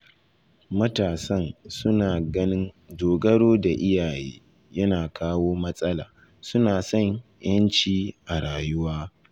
Matasan suna ganin dogaro da iyaye yana kawo matsala, suna son 'yanci a rayuwa